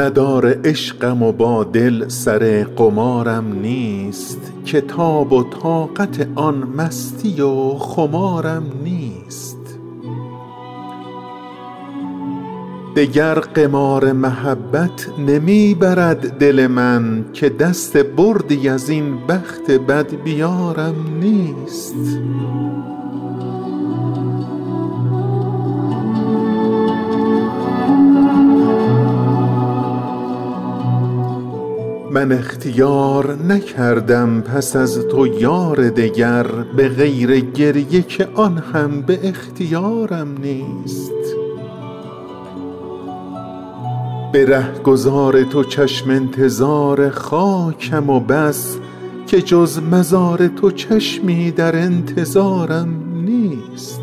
ندار عشقم و با دل سر قمارم نیست که تاب و طاقت آن مستی و خمارم نیست دگر قمار محبت نمی برد دل من که دست بردی از این بخت بدبیارم نیست حساب جاری من گو ببند باجه بانک که من به بودجه عمر اعتبارم نیست من اختیار نکردم پس از تو یار دگر به غیر گریه که آن هم به اختیارم نیست جهان فریب دهد آدمی به نقش و نگار مرا چه نقش فریبنده چون نگارم نیست به رهگذار تو چشم انتظار خاکم و بس که جز مزار تو چشمی در انتظارم نیست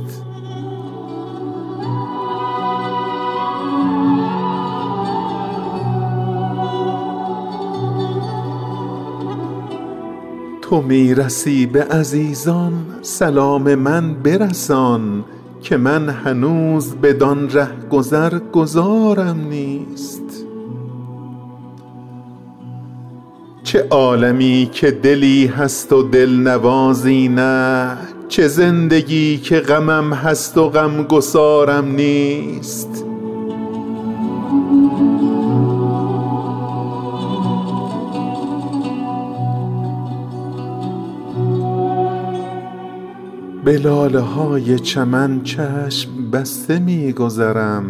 تو می رسی به عزیزان سلام من برسان که من هنوز بدان رهگذر گذارم نیست قطار قافله همرهان مرا بگذشت که من بلیت و گذرنامه قطارم نیست چه عالمی که دلی هست و دلنوازی نه چه زندگی که غمم هست و غمگسارم نیست به لاله های چمن چشم بسته می گذرم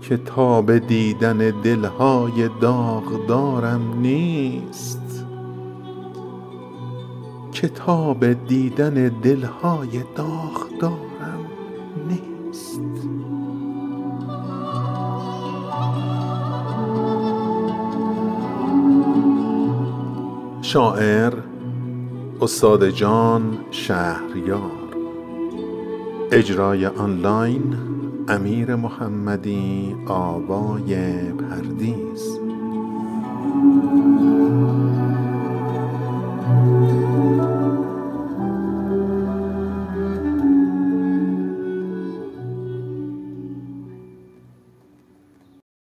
که تاب دیدن دل های داغدارم نیست غزال من تو چه شاخ نبات بودی حیف که من چو خواجه غزل های شاهکارم نیست ز نام بردن خود نیز شرمم آید و ننگ که شهریارم و آن شعر شهریارم نیست